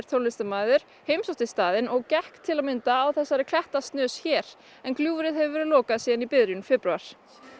tónlistarmaður heimsótti staðinn og gekk til að mynda á þessari klettasnös hér en gljúfrið hefur verið lokað síðan í byrjun febrúar